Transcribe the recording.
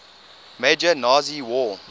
major nazi war